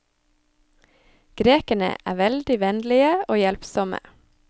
Grekerne er veldig vennlige og hjelpsomme.